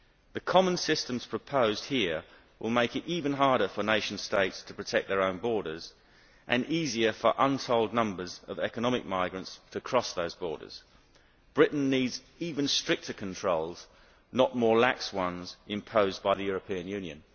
The common systems proposed here will make it even harder for nation states to protect their own borders and easier for untold numbers of economic migrants to cross those borders. Britain needs even stricter controls, not more lax ones imposed by the European Union.